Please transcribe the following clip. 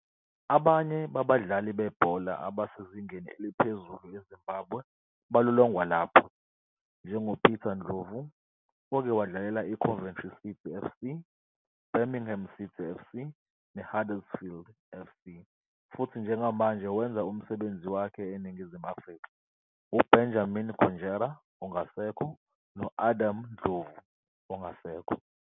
Abanye babadlali bebhola abasezingeni eliphezulu eZimbabwe balolongwa lapha, njengoPeter Ndlovu, oke wadlalela iCoventry City FC, iBirmingham City FC, neHuddersfield FC futhi njengamanje wenza umsebenzi wakhe eNingizimu Afrika, uBenjamin Konjera ongasekho, no-Adam Ndlovu ongasekho.